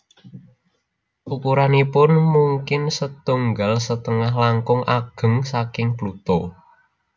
Ukuranipun mungkin setunggal setengah langkung ageng saking Pluto